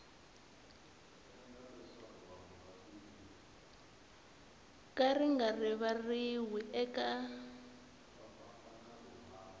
ka ri nga rivariwi eka